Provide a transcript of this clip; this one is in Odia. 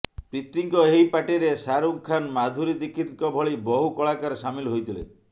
ପ୍ରୀତିଙ୍କ ଏହି ପାର୍ଟିରେ ଶାହାରୁଖ୍ ଖାନ୍ ମାଧୁରୀ ଦୀକ୍ଷିତଙ୍କ ଭଳି ବହୁ କଳାକାର ସାମିଲ୍ ହୋଇଥିଲେ